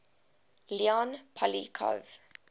leon poliakov